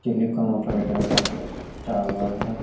Telecom operator का एक tower है।